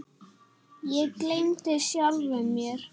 Ég gleymdi sjálfum mér.